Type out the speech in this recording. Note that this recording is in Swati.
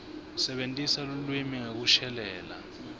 sebentisa lulwimi ngekushelela